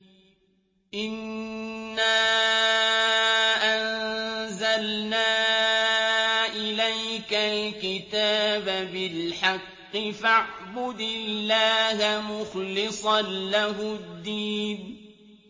إِنَّا أَنزَلْنَا إِلَيْكَ الْكِتَابَ بِالْحَقِّ فَاعْبُدِ اللَّهَ مُخْلِصًا لَّهُ الدِّينَ